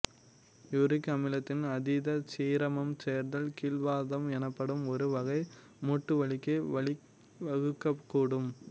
uric அமிலத்தின் அதீத serum சேர்தல் கீல்வாதம் எனப்படும் ஒரு வகை மூட்டுவலிக்கு வழிவகுக்கக்கூடும்